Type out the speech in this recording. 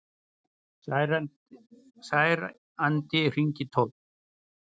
Særandi hringitónn